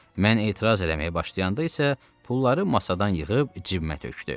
Mən etiraz eləməyə başlayanda isə pulları masadan yığıb cibinə tökdü.